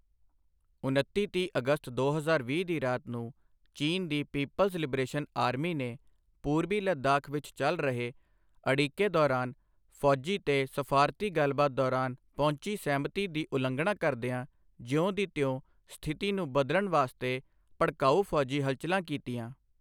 ਉਨੱਤੀ ਤੀਹ ਅਗਸਤ ਦੋ ਹਜ਼ਾਰ ਵੀਹ ਦੀ ਰਾਤ ਨੂੰ ਚੀਨ ਦੀ ਪੀਪਲਜ਼ ਲਿਬਰੇਸ਼ਨ ਆਰਮੀ ਨੇ ਪੂਰਬੀ ਲੱਦਾਖ਼ ਵਿੱਚ ਚੱਲ ਰਹੇ ਅੜਿੱਕੇ ਦੌਰਾਨ ਫੌਜੀ ਤੇ ਸਫ਼ਾਰਤੀ ਗੱਲਬਾਤ ਦੌਰਾਨ ਪਹੁੰਚੀ ਸਹਿਮਤੀ ਦੀ ਉਲੰਘਣਾ ਕਰਦਿਆਂ ਜਿਉਂ ਦੀ ਤਿਉਂ ਸਥਿਤੀ ਨੂੰ ਬਦਲਣ ਵਾਸਤੇ ਭੜਕਾਊ ਫੌਜੀ ਹਲਚਲਾਂ ਕੀਤੀਆਂ।